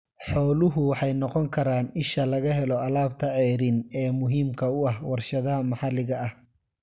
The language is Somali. Xooluhu waxay noqon karaan isha laga helo alaabta ceeriin ee muhiimka u ah warshadaha maxalliga ah.